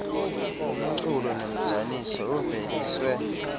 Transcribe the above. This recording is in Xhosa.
umculo nomdaniso uveliswe